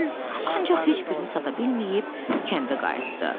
Ancaq heç birini sata bilməyib kəndə qayıtdı.